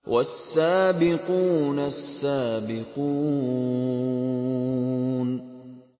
وَالسَّابِقُونَ السَّابِقُونَ